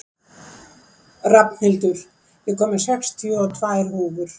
Rafnhildur, ég kom með sextíu og tvær húfur!